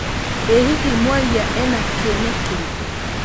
ĩ hihi mwarĩa ena kĩene kĩrikũ